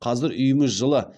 қазір үйіміз жылы